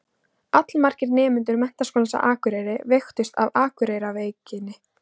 Allmargir nemendur Menntaskólans á Akureyri veiktust af Akureyrarveikinni.